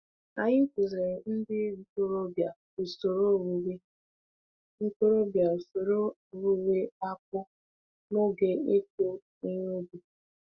Anyị kụziiri ndị ntorobịa usoro owuwe ntorobịa usoro owuwe akpu n'oge ịkụ ihe ubi.